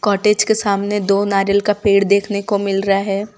Cottage के सामने दो नारियल का पेड़ देखनो को मिल रहा है।